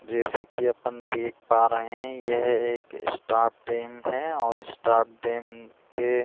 जैसे की अपन देख पा रहे है यह एक टैंक है और टैंक के --